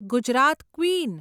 Gujarat queen